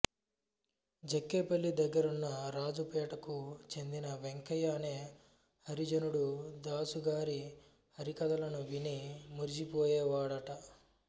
జక్కేపల్లి దగ్గరున్నరాజుపేటకు చెందిన వెంకయ్య అనే హరిజనుడు దాసుగారి హరికథలను విని మురిసిపోయేవాడట